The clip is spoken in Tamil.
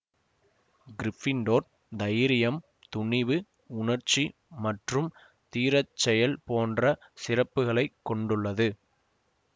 கிறிபிண்டோர் தைரியம் துணிவு உணர்ச்சி மற்றும் தீரச்செயல் போன்ற சிறப்புக்களை கொண்டுள்ளது